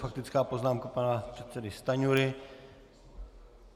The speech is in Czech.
Faktická poznámka pana předsedy Stanjury.